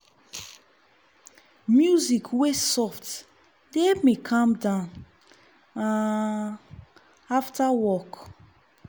music wey soft dey help me calm down um after work.